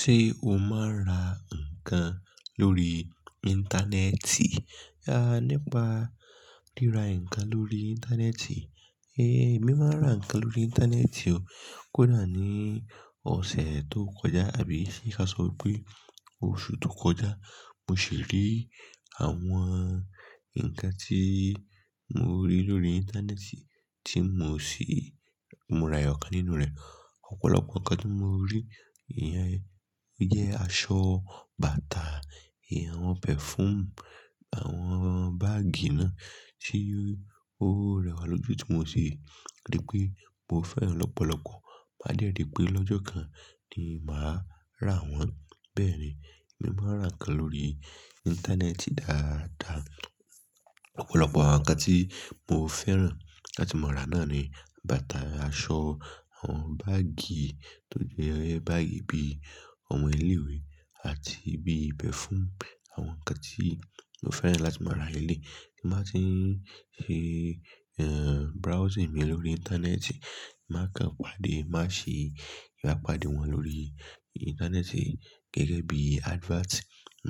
Ṣé o máa ń ra nǹkan lórí Íńtánẹ́ẹ̀tì? A nípa ríra nǹkan lórí Íńtánẹ́ẹ̀tì. Ée, èmi máa ń ra nǹkan lórí Íńtánẹ́ẹ̀tì o. Kódà ní ọ̀sẹ̀ tó kọjá àbí ṣé ka sọ pé oṣù tó kọjá. Mo sì rí àwọn nǹkan tí mo rí lórí Íńtánẹ́ẹ̀tì tí mo sì móra ọ̀kan nínú rẹ̀. Ọ̀pọ̀lọpọ̀ nǹkan tí mo rí, ìyẹn jẹ́ aṣọ, bàtà, ìhàn pẹ̀fúùùm, àwọn báàgì náà. Sé ó rẹwà lójú, ti mo si ri pé mo fẹ́ràn lọ́pọ̀lọpọ̀. Má dẹ́ ri pé lọ́jọ́ kan ni màá rà wọ́n. Bẹ́ẹ̀ ni, èmi máa ń rà nǹkan lórí Íńtánẹ́ẹ̀tì dáadáa. Ọ̀pọ̀lọpọ̀ nǹkan tí mo fẹ́ràn láti máa rà náà ni bàtà, aṣọ, àwọn báàgì tó jẹ́ báàgì bí i omo ilé-ìwé àti bí i pẹ̀fúùù. Àwọn nǹkan tí mo fẹ́ràn láti máa ra leléyi. Tí n n bá tì ń ṣe, ehn, browsing mi lórí Íńtánẹ́ẹ̀tì, máa kan pàdé, màá ṣe ìbápade wọn lórí Íńtánẹ́ẹ̀tì gẹ́gẹ́ bíi adverts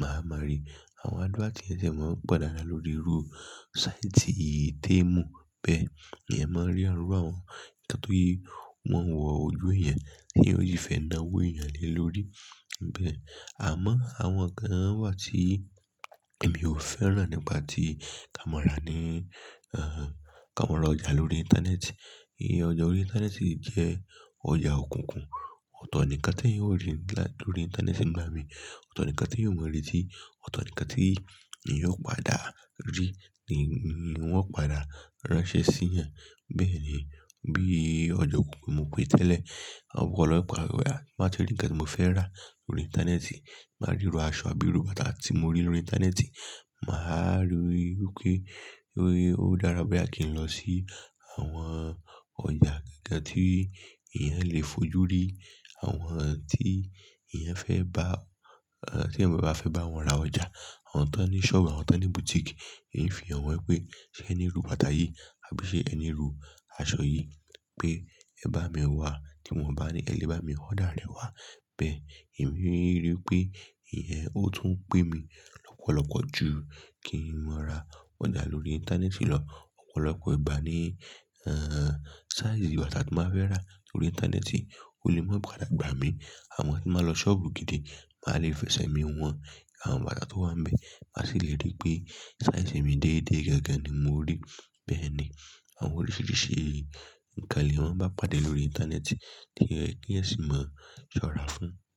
máa ma ri. Àwọn adverts yẹn sì máa ń po dàadáa lórí rúú, sáìtì, téèmù bẹ́ẹ̀. Eeyan máa ń rí irú àwọ́n. Nǹkan tó yí wọ́n wọ ojú eeyan, teeyan ó sì fẹ́ náwó èèyàn lé lórí. Bẹ́ẹ̀, àmọ́ àwọn nǹkan wà tí èmi ò fẹ́ràn nípa tí ká máa rà ni, ehn, ká máa ra ọjà lórí Íńtánẹ́ẹ̀tì. Íyẹn ọjà órí Íńtánẹ́ẹ̀tì le jẹ́ ọjà òkùnkùn. Ọ̀tọ̀ ni nǹkan tí eeyan ó rí lórí Íńtánẹ́ẹ̀tì ngbà mí. Ọ̀tọ̀ ni nǹkan tí eeyan ó mọ̀ retí, ọ̀tọ̀ ni nǹkan tí eeyan ó padà rí ni wọ̀n o padà ránṣẹ́ sí yan. Bẹ́ẹ̀ ni, bí i ọjà òkùnkùn mo pè é tẹ́lẹ̀. Ọ̀pọ̀lọpọ̀ ìgbà boya mo wà ti e ri nǹkan tí mo fẹ́ rà lórí Íńtánẹ́ẹ̀tì, boyá irú aṣọ àbí irú bàtà tí mo rí lórí Íńtánẹ́ẹ̀tì, màá rí i pé ó dára bóyá kí n lọ sí àwọn ọjà kan tí eeyan lè fojú rí. Àwọn tí eeyan fẹ́ bá, ehn, tí èeyan bá wa fẹ́ bá wọn ra ọjà. Àwọn tó ní ṣọ́ọ̀bù, àwọn tó ní bùtíìkì. Hin fi hàn wọn pé ṣé ẹ ní irú bàtà yìí? Àbí ṣé ẹ ní irú aṣọ yìí? Pé ẹ bá mi wá. Tí won o bá ní ẹ lé bá mi ọ̀dà rẹ wá. Bẹ́ẹ̀ ni, èmi rí i pé ìyẹn ó tún pẹ́ mi lọ́pọ̀lọpọ̀ ju kí n máa ra ọjà lórí Íńtánẹ́ẹ̀tì lọ. Ọ̀pọ̀lọpọ̀ ìgbá ni, ehn, saíìsì bàtà tí màá fẹ́ rà lórí Íńtánẹ́ẹ̀tì ò lè máa padà gbà mí. Àmọ tí n bà lọ ṣọ́ọ̀bù gidi màá lè fẹsẹ̀ mi wọ̀n. Àwọn bàtà tó wà ń bẹ má sì le ri pé saíìsì èmi déédé gangan ni mo rí. Bẹ́ẹ̀ ni, àwọn oríṣìíríṣìí nǹkan leeyan maa n bá pàdé lórí Íńtánẹ́ẹ̀tì to ye keeyan sì máa ṣọ́ra fún un.